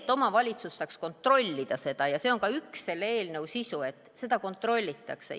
Aga omavalitsus peaks saama seda kontrollida ja see on ka selle eelnõu sisu, et seda kontrollitakse.